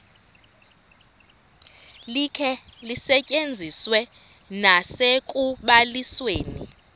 likhe lisetyenziswe nasekubalisweni